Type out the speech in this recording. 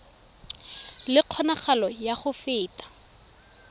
le kgonagalo ya go feta